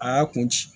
A y'a kun ci